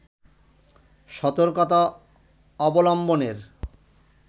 সতর্কতা অবলম্বনের